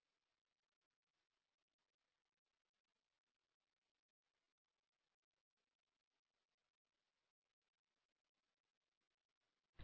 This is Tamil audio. தேதி கிடைத்துவிட்டது